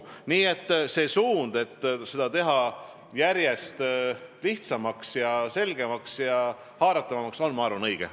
Nii et see suund, et seda järjest lihtsamaks, selgemaks ja haaratavamaks teha, on, ma arvan, õige.